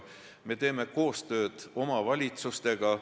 Me teeme koostööd omavalitsustega.